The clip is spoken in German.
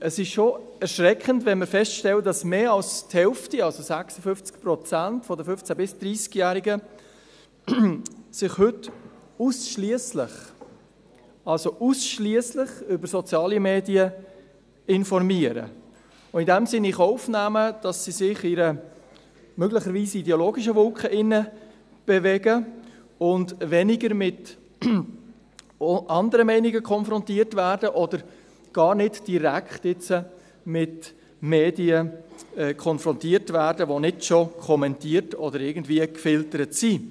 Es ist schon erschreckend, wenn man feststellt, dass mehr als die Hälfte, also 56 Prozent der 15- bis 30-Jährigen, sich heute ausschliesslich – ausschliesslich! – über soziale Medien informiert und in diesem Sinn in Kauf nimmt, dass sie sich in einer möglicherweise ideologischen Wolke bewegt und weniger mit auch anderen Meinungen konfrontiert wird oder gar nicht direkt mit Medien, die nicht bereits kommentiert oder gefiltert sind.